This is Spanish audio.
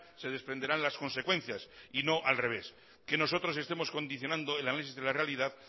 se desprenderán las consecuencias y no al revés que nosotros estemos condicionando el análisis de la realidad